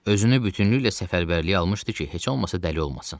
Özünü bütünlüklə səfərbərliyə almışdı ki, heç olmasa dəli olmasın.